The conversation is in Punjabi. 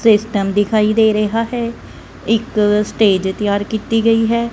ਸਿਸਟਮ ਦਿਖਾਈ ਦੇ ਰਿਹਾ ਹੈ ਇੱਕ ਸਟੇਜ ਤਿਆਰ ਕਿੱਤੀ ਗਈ ਹੈ।